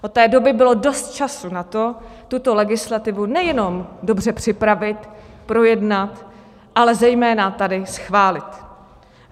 Od té doby bylo dost času na to, tuto legislativu nejenom dobře připravit, projednat, ale zejména tady schválit.